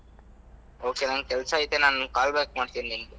Ok ನನ್ಗ್‌ ಕೆಲ್ಸ ಐತೆ ನಾನ್ call back ಮಾಡ್ತೀನಿ ನಿಮ್ಗ್.